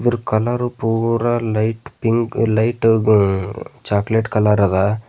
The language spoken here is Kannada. ಇದರ ಕಲರ್ ಪೂರ ಲೈಟ್ ಪಿಂಕ್ ಲೈಟ್ ಗು ಚಾಕಲೇಟ್ ಕಲರ್ ಅದ.